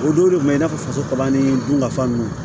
O don de kun bɛ i n'a fɔ faso ta ni dunkafan ninnu